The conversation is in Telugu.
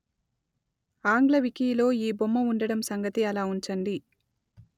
ఆంగ్ల వికీలో ఈ బొమ్మ ఉండడం సంగతి అలా ఉంచండి